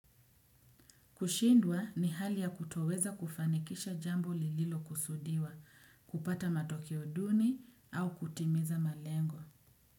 Kushindwa ni hali ya kutoweza kufanikisha jambo lililokusudiwa, kupata matokeo duni au kutimiza malengo.